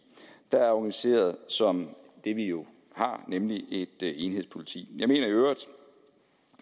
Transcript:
der er organiseret som det vi jo har nemlig et enhedspoliti